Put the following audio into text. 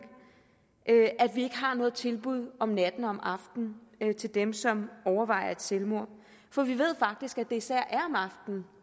at vi ikke har noget tilbud om natten og om aftenen til dem som overvejer selvmord for vi ved faktisk at det især er om aftenen